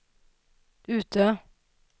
Utö